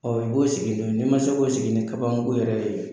Ɔ dɔw sigilen demisɛnniw sigilen ni kabanko yɛrɛ yen!